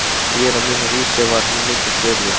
Mér og mínu húsi var hún mikils virði.